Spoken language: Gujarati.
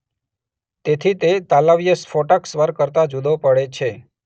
તેથી તે તાલવ્ય સ્ફોટક સ્વર કરતા જુદો પડે છે.